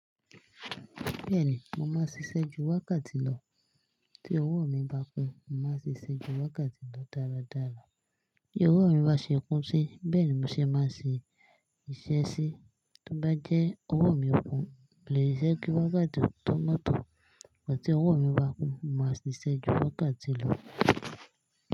Bẹ́ẹ̀ni, mo máa ń ṣiṣẹ́ ju wákàtí lọ. Tí owó mi bá pe, mo máa ṣiṣẹ́ ju wákàtí lọ dáradára. Bí owó mi bá ṣe kún sí, bẹ́ẹ̀ ni mo ṣe máa ṣe iṣẹ́ sí. Tí ó bá jẹ́ owó mi ò kún, mo lè ṣẹ́ kí wákàtí o tó mọ́tọ̀, però tí owó mi bá kún, mo máa ṣiṣẹ́ ju wákàtí lọ.